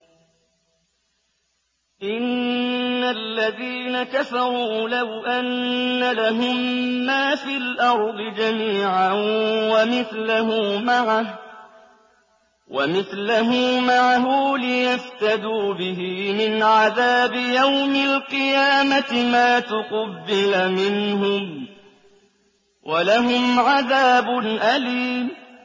إِنَّ الَّذِينَ كَفَرُوا لَوْ أَنَّ لَهُم مَّا فِي الْأَرْضِ جَمِيعًا وَمِثْلَهُ مَعَهُ لِيَفْتَدُوا بِهِ مِنْ عَذَابِ يَوْمِ الْقِيَامَةِ مَا تُقُبِّلَ مِنْهُمْ ۖ وَلَهُمْ عَذَابٌ أَلِيمٌ